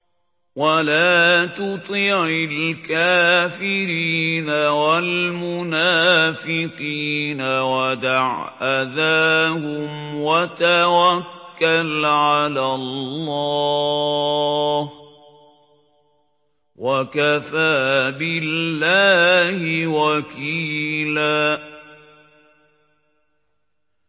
وَلَا تُطِعِ الْكَافِرِينَ وَالْمُنَافِقِينَ وَدَعْ أَذَاهُمْ وَتَوَكَّلْ عَلَى اللَّهِ ۚ وَكَفَىٰ بِاللَّهِ وَكِيلًا